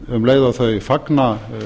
um leið og þau fagna